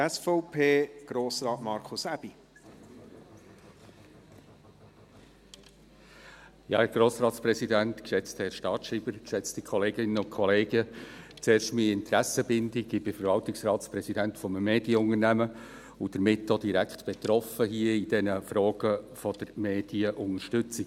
Zuerst meine Interessenbindung: Ich bin Verwaltungsratspräsident eines Medienunternehmens und somit auch direkt betroffen von den Fragen der Medienunterstützung.